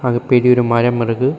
அது பெரிய ஒரு மரம் இருக்கு.